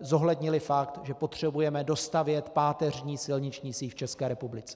zohlednily fakt, že potřebujeme dostavět páteřní silniční síť v České republice.